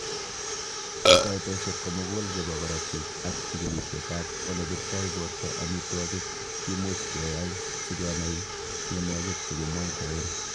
Koitosiek komukul chebo korotik ak chikilisietab olebirto borto omitwogik kimuch keyai sikenai mionwogik chekimwoitoen.